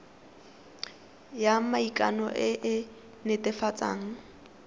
ya maikano e e netefatsang